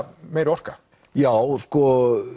meiri orka já sko